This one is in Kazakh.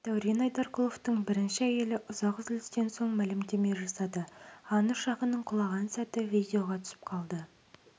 дәурен айдарқұловтың бірінші әйелі ұзақ үзілістен соң мәлімдеме жасады ан ұшағының құлаған сәті видеоға түсіп қалды